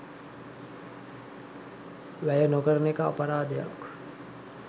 වැය නොකරන එක අපරාධයක්.